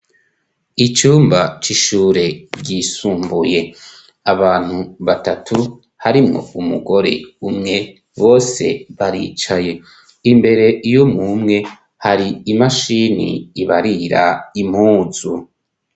Icumba c'ishure ryisumbuye. Abantu batatu harimwo umugore umwe, bose baricaye. Imbere y'umwe umwe, har'imashini ibarira impuzu.